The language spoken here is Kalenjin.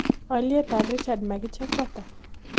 Alyetap richard makiche ko ata